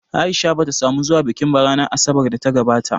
A’isha bata samu zuwa bikin ba ranar Asabar da ta gabata